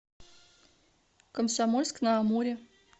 комсомольск на амуре